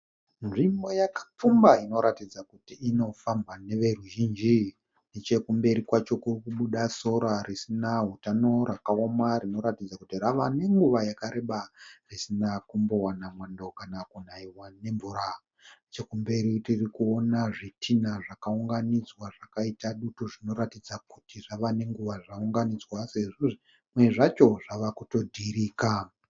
Nzvimbo yakapfumba inoratidza kuti inofambwa neveruzhinji. Nechekumberi kwacho kuri kubuda sora risina hutano rakaoma rinoratidza kuti rave nenguva yakareba risina kumbowana mwando kana kunaiwa nemvura. Nechekumberi tirikuona zvitinha zvakaunganidzwa zvakaita dutu zvinoratidza kuti zvave nenguva zvaunganidzwa sezvo zvimwe zvacho zvava kutodhirika.